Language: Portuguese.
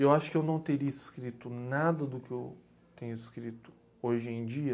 Eu acho que eu não teria escrito nada do que eu tenho escrito hoje em dia...